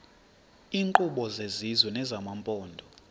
iinkqubo zesizwe nezamaphondo